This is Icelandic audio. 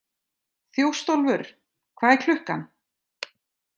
Þjóstólfur, hvað er klukkan?